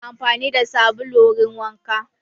Muna amfani da sabulu wurin wanka